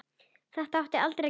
Þetta átti aldrei að gerast